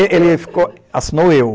Ele ele ficou, assinou eu.